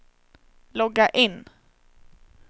logga in